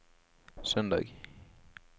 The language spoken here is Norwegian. søndag